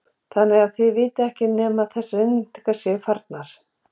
Þannig að þið vitið ekki nema að þessar innréttingar séu farnar?